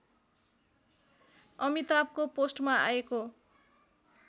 अमिताभको पोस्टमा आएको